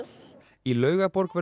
í Laugarborg verður